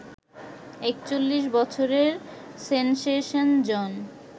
৪১ বছরের সেনসেশন জন